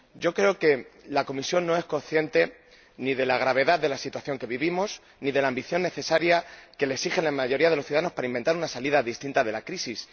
Creo que la Comisión no es consciente ni de la gravedad de la situación que vivimos ni de la ambición necesaria que le exige la mayoría de los ciudadanos para inventar una salida distinta de la crisis.